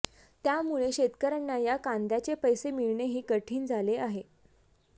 त्यामुळे शेतकऱ्यांना या कांद्याचे पैसे मिळणेही कठीण झाले आहे